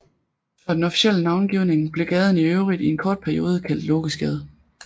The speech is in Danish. Før den officielle navngivning blev gaden i øvrigt i en kort periode kaldt Lokesgade